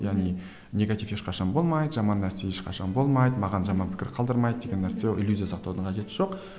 яғни негатив ешқашан болмайды жаман нәрсе ешқашан болмайды маған жаман пікір қалдырмайды деген нәрсе иллюзия сақтаудың қажеті жоқ